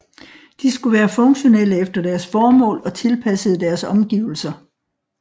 De skulle være funktionelle efter deres formål og tilpassede deres omgivelser